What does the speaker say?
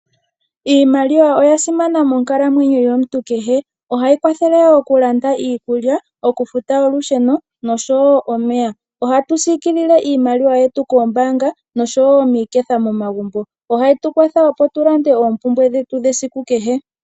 Iimaliwa oya simana monkalamwenyo yomuntu kehe. Ohayi kwathele oku landa iikulya, oku futa olusheno osho wo omeya. Ohatu siikilile iimaliwa yetu koombaanga osho wo miiketha momagumbo. Ohayi tu kwathele wo mokulanda oompumbwe dhetu dhesiku kehe.